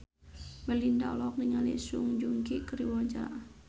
Melinda olohok ningali Song Joong Ki keur diwawancara